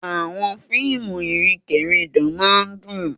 Àwọn fíìmù ìrìnkèrindò máa ń dùn.